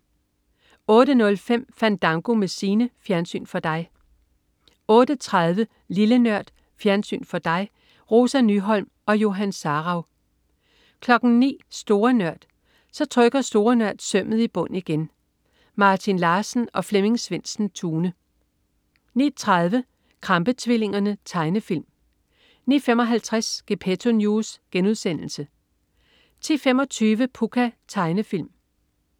08.05 Fandango med Signe. Fjernsyn for dig 08.30 Lille Nørd. Fjernsyn for dig. Rosa Nyholm og Johan Sarauw 09.00 Store Nørd. Så trykker Store Nørd sømmet i bund igen. Martin Larsen og Flemming Svendsen-Tune 09.30 Krampe-tvillingerne. Tegnefilm 09.55 Gepetto News* 10.25 Pucca. Tegnefilm